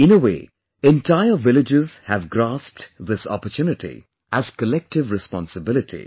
In a way, entire villages have grasped this opportunity as collective responsibility